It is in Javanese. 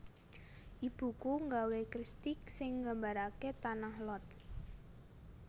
Ibuku nggawe kristik sing nggambarake Tanah Lot